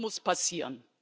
Das muss passieren.